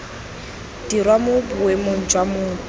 dirwa mo boemong jwa motho